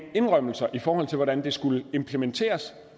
indrømmelser i forhold til hvordan det skulle implementeres